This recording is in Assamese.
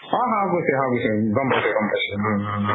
অ সাউকূছি সাউকূছি, গম পাইছো গম পাইছো হু হু হু